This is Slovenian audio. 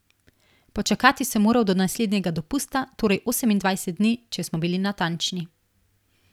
Počakati sem moral do naslednjega dopusta, torej osemindvajset dni, če smo bili natančni.